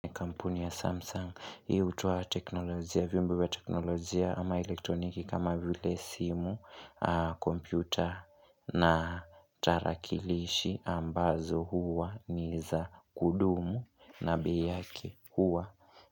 Kampuni ya Samsung, hii utoa teknolojia, vyombo vya teknolojia ama elektroniki kama vile simu, kompyuta na tarakilishi ambazo huwa ni za kudumu na bei yake huwa.